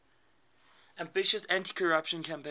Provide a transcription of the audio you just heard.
ambitious anticorruption campaign